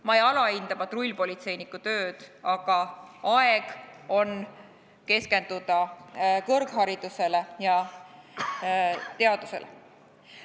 Ma ei alahinda patrullpolitseiniku tööd, aga aeg on keskenduda kõrgharidusele ja teadusele.